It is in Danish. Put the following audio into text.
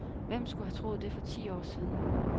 Hvem skulle have troet det for ti år siden?